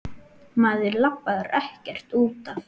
Maður labbar ekkert út af.